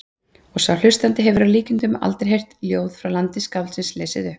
Og sá hlustandi hefur að líkindum aldrei heyrt ljóð frá landi skáldsins lesið upp.